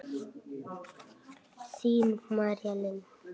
Þín, María Lind.